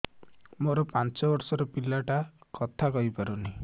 ମୋର ପାଞ୍ଚ ଵର୍ଷ ର ପିଲା ଟା କଥା କହି ପାରୁନି